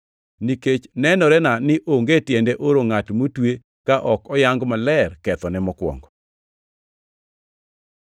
Nikech nenorena ni onge tiende oro ngʼat motwe ka ok oyang maler kethone mokwongo.”